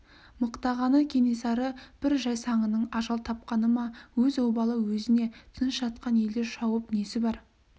мықтағаны кенесары бір жайсаңының ажал тапқаны ма өз обалы өзіне тыныш жатқан елді шауып несі бар